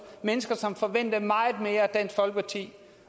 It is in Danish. mennesker som forventede meget mere af dansk folkeparti